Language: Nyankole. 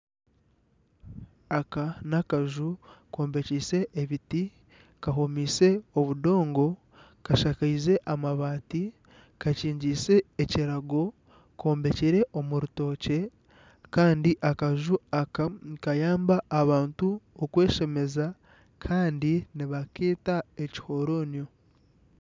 Aka nakaju kombekiise ebiti ,kahomiise obudongo kashakaize amabaati kakingiise ekirago nkombekire omu rutookye Kandi akaju aka nikayamba abantu okweshemeza Kandi nibakeeta ekihoronio.